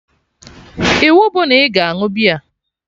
Iwu bụ na ị ga añụ beer!